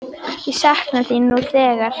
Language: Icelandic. Ég sakna þín nú þegar.